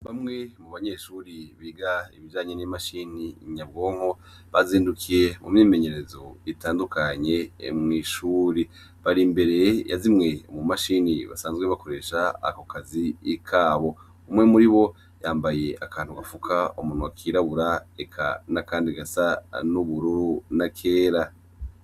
Bamwe mubanyeshure biga ibijanye n’imashini Nyabwonko, bazindukiye mumyimenyerezo itandukanye mw’ishure. Bar’imbere ya zimwe mu mashini basanzwe bakoresha ako kazi kabo. Umwe muribo yampaye agafuka munwa kirabura eka n’akandi gasa n’ubururu n’akera.